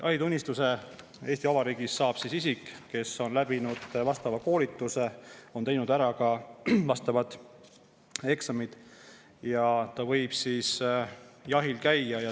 Jahitunnistuse saab Eesti Vabariigis isik, kes on läbinud vastava koolituse, teinud ära vastavad eksamid ja võib jahil käia.